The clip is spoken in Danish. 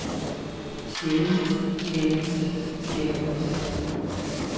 sjældent sjældent sjældent